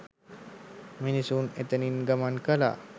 මිනිසුන් එතැනින් ගමන් කළා.